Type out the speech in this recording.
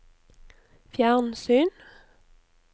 fjernsyn